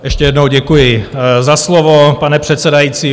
Ještě jednou děkuji za slovo, pane předsedající.